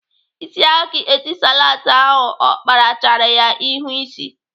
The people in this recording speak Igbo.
Isi aka Etisalat ahụ ọ kpara chara ya ihu ịsị.